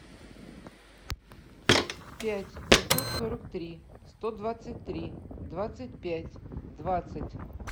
пять пятьсот сорок три сто двадцать три двадцать пять двадцать